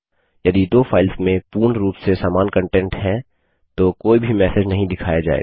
यदि दो फाइल्स में पूर्ण रूप से समान कंटेंट है तो कोई भी मैसेज नहीं दिखाया जायेगा